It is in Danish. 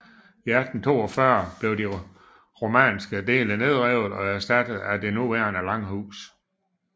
I 1842 blev de romanske dele nedrevet og erstattet med det nuværende langhus